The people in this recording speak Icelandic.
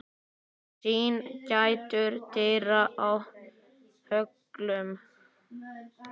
Syn gætir dyra í höllum